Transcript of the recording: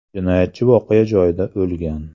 Jinoyatchi voqea joyida o‘lgan.